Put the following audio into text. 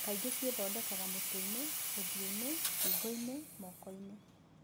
Kaingĩ ciethondekaga mutweinĩ, ũthiũinĩ, ngingoinĩ, mokoinĩ.